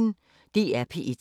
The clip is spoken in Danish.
DR P1